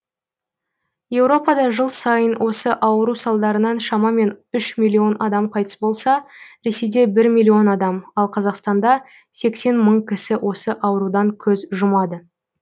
еуропада жыл сайын осы ауру салдарынан шамамен үш миллион адам қайтыс болса ресейде бір миллион адам ал қазақстанда сексен мың кісі осы аурудан көз жұмады